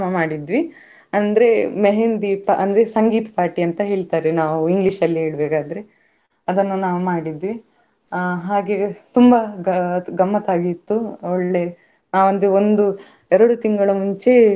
ಆ ಹಾವುಗಳು ಅನ್ನು ಒಂದು ಆ ಗಾಜಿನ ಡಬ್ಬಿಯೊಳಗೆ ಇ~ ಇಟ್ಟಿದ್ರು ಅದ್ರ ಒಳಗಡೆಯಿಂದ ನೋಡುವಾಗವೆ ನಮ್ಗೆ ಭಯ ಆಗ್ತಿತ್ತು ಆ ಮತ್ತೆ ಇದು ಆ ಮೀನಿಗೆ ಮೀನಿನ ಬಗ್ಗೆಸ ಎಲ್ಲ ಹೇಳಿದ್ರು.